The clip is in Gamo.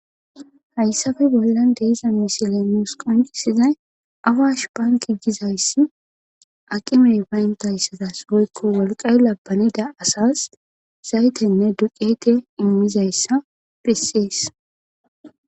Hayssafe bollan deiza misiley muus qoncisizay awash banki gizayssi aqimey bayntayssadas oykko wolqay labbanida asas zaytenne duqeete immizayssa prissees.